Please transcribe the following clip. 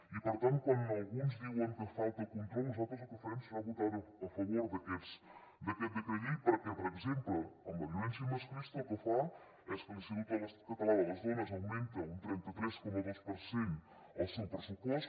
i per tant quan alguns diuen que falta control nosaltres el que farem serà votar a favor d’aquest decret llei perquè per exemple amb la violència masclista el que fa és que l’institut català de les dones augmenta un trenta tres coma dos per cent el seu pressupost